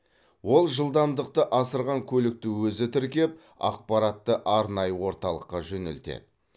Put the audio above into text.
ол жылдамдықты асырған көлікті өзі тіркеп ақпаратты арнайы орталыққа жөнелтеді